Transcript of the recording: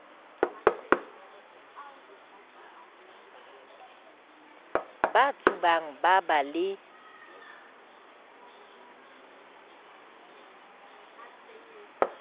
ba tsubang ba ba le